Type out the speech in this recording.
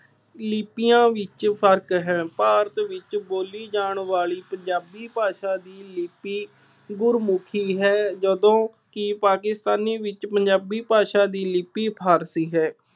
ਲਿੱਪੀਆਂ ਵਿੱਚ ਫਰਕ ਹੈ। ਭਾਰਤ ਵਿੱਚ ਬੋਲੀ ਜਾਣ ਵਾਲੀ ਪੰਜਾਬੀ ਭਾਸ਼ਾ ਦੀ ਲਿੱਪੀ ਗੁਰਮੁਖੀ ਹੈ। ਜਦੋਂ ਕਿ ਪਾਕਿਸਤਾਨੀ ਵਿੱਚ ਪੰਜਾਬੀ ਭਾਸ਼ਾ ਦੀ ਲਿੱਪੀ ਫਾਰਸੀ ਹੈ।